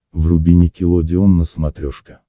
вруби никелодеон на смотрешке